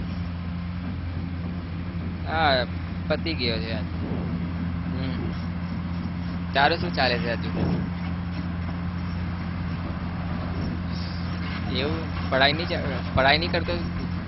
આ પતી ગયો છે આ તો હમ તારું શું ચાલે છે ? એવું पढाई नई पढाई નહિ કરતો તું?